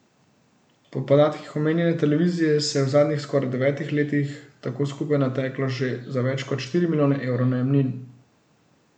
Po podatkih omenjene televizije se je v zadnjih skoraj devetih letih tako skupaj nateklo že za več kot štiri milijone evrov najemnin.